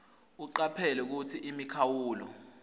ucaphele kutsi imikhawulo